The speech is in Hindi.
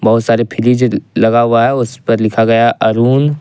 बहुत सारे फ्रिज लगा हुआ है उसपर लिखा गया अरुन।